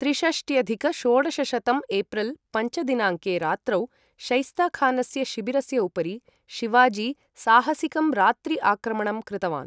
त्रिषष्ट्यधिक षोडशशतं एप्रिल् पञ्च दिनाङ्के रात्रौ, शैस्ता खानस्य शिबिरस्य उपरि शिवाजी साहसिकं रात्रि आक्रमणं कृतवान्।